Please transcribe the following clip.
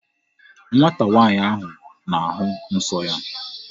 Nwata nwaanyị ahụ na-ahụ nsọ ya.